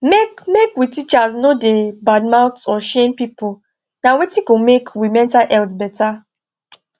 make make we teachers no da bad mouth or shame people na wetin go make we mental health better